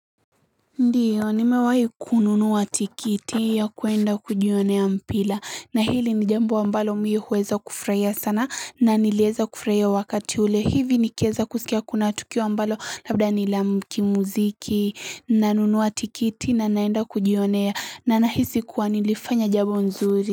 Ndiyo nimewahi kununuwa tikiti ya kuenda kujionea mpira na hili ni jambo ambalo mi huweza kufurahia sana na niliweza kufurahia wakati ule hivi nikueza kusikia kuna tukio ambalo labda nila kimuziki na nunua tikiti na naenda kujionea na nahisi kuwa nilifanya jambo nzuri.